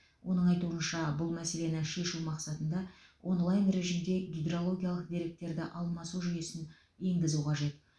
оның айтуынша бұл мәселені шешу мақсатында онлайн режімде гидрологиялық деректерді алмасу жүйесін енгізу қажет